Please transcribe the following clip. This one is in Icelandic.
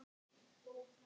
Sem hún sá mikið eftir.